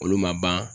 Olu ma ban